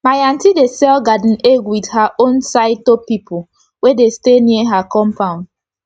my auntie dey sell garden egg with her own sauyto pipu wey dey stay near her compound